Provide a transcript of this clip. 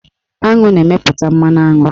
Aṅụ na-emeputa mmanụaṅụ